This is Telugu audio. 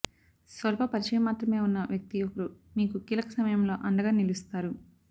స్వల్ప పరిచయం మాత్రమే ఉన్న వ్యక్తి ఒకరు మీకు కీలక సమయంలో అండగా నిలుస్తారు